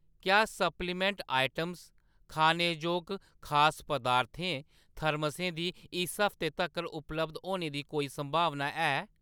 क्या supplement items ,खानेजोग खास पदार्थें ,थर्मसें दी इस हफ्तै तक्कर उपलब्ध होने दी कोई संभावना है ?